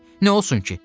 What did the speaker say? Nə olsun ki?